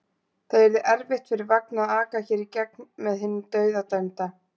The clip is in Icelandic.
Það yrði erfitt fyrir vagn að aka hér í gegn með hinn dauðadæmda.